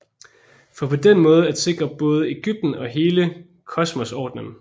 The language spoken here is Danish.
For på den måde at sikre både Egypten og hele kosmosordenen